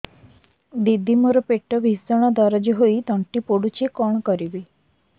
ଦିଦି ମୋର ପେଟ ଭୀଷଣ ଦରଜ ହୋଇ ତଣ୍ଟି ପୋଡୁଛି କଣ କରିବି